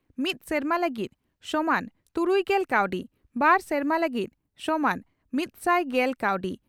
ᱢᱤᱛ ᱥᱮᱨᱢᱟ ᱞᱟᱹᱜᱤᱫ ᱥᱚᱢᱟᱱ ᱛᱩᱨᱩᱭᱜᱮᱞ ᱠᱟᱣᱰᱤ ᱾ᱵᱟᱨ ᱥᱮᱨᱢᱟ ᱞᱟᱹᱜᱤᱫ ᱥᱚᱢᱟᱱ ᱢᱤᱛᱥᱟᱭ ᱜᱮᱞ ᱠᱟᱣᱰᱤ